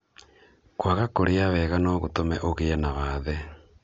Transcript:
kwaga kũrĩa wega nô gũtũme ũgĩe na wathe